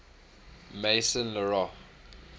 maison la roche